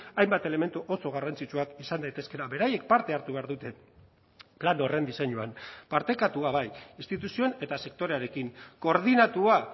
hainbat elementu oso garrantzitsuak izan daitezkeela beraiek parte hartu behar dute plan horren diseinuan partekatua bai instituzioen eta sektorearekin koordinatua